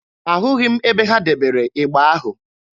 Ahụghị m ebe ha debere ịgba ahụ.